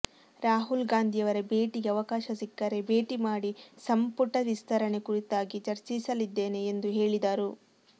ರಾಹುಲ್ಗಾಂಧಿಯವರ ಭೇಟಿಗೆ ಅವಕಾಶ ಸಿಕ್ಕರೆ ಭೇಟಿ ಮಾಡಿ ಸಂಪುಟ ವಿಸ್ತರಣೆ ಕುರಿತಾಗಿ ಚರ್ಚಿಸಲಿದ್ದೇನೆ ಎಂದು ಹೇಳಿದರು